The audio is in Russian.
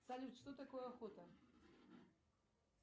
салют что такое охота